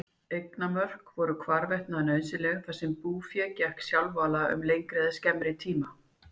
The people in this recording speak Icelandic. Eignarmörk voru hvarvetna nauðsynleg þar sem búfé gekk sjálfala um lengri eða skemmri tíma.